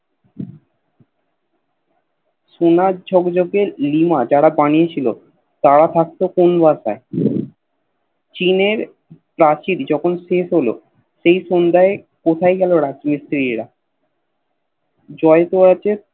সোনার ঝকঝকে লিমা যারা বানিয়ে ছিল তার থাকতো কোন জায়গায় চীনের প্রাচীর যখন স্থির হল সেই সন্ধায় কোথায় গেল রাজ মিস্ত্রীরা জয় তো আছে